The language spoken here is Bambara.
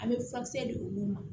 An bɛ furakisɛ di olu ma